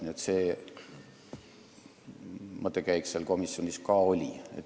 Nii et selline mõttekäik oli komisjonis ka.